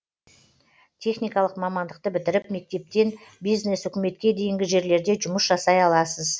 техникалық мамандықты бітіріп мектептен бизнес үкіметке дейінгі жерлерде жұмыс жасай аласыз